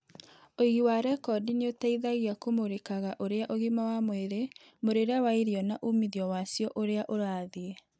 Uigi wa rekondi nĩũteithagia kũmũrikaga ũrĩa ũgima wa mwĩrĩ, mũrĩre wa irio na umithio wacio ũrĩa ũrathiĩ.